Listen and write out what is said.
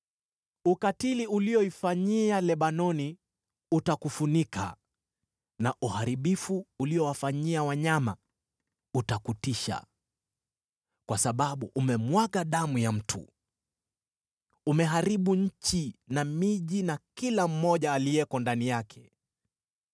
Ukatili ulioifanyia Lebanoni utakufunika, na uharibifu uliowafanyia wanyama utakutisha. Kwa sababu umemwaga damu ya mtu; umeharibu nchi na miji na kila mmoja aliyeko ndani yake.